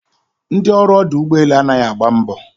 Ndị ọrụ ọdụ ụgbọelu anaghị agba mbọ